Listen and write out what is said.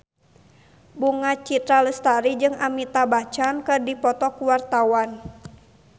Bunga Citra Lestari jeung Amitabh Bachchan keur dipoto ku wartawan